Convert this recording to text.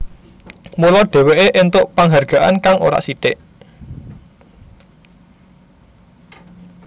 Mula dheweké entuk panghargaan kang ora sithik